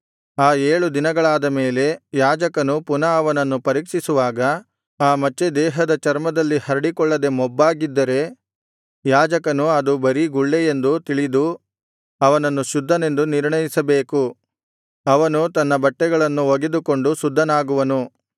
ಆ ಏಳು ದಿನಗಳಾದ ಮೇಲೆ ಯಾಜಕನು ಪುನಃ ಅವನನ್ನು ಪರೀಕ್ಷಿಸುವಾಗ ಆ ಮಚ್ಚೆ ದೇಹದ ಚರ್ಮದಲ್ಲಿ ಹರಡಿಕೊಳ್ಳದೆ ಮೊಬ್ಬಾಗಿದ್ದರೆ ಯಾಜಕನು ಅದು ಬರೀ ಗುಳ್ಳೆಯೆಂದು ತಿಳಿದು ಅವನನ್ನು ಶುದ್ಧನೆಂದು ನಿರ್ಣಯಿಸಬೇಕು ಅವನು ತನ್ನ ಬಟ್ಟೆಗಳನ್ನು ಒಗೆದುಕೊಂಡು ಶುದ್ಧನಾಗುವನು